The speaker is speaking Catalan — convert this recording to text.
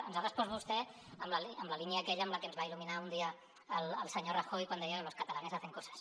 ens ha respost vostè en la línia aquella amb la que ens va il·luminar un dia el senyor rajoy quan deia que los catalanes hacensas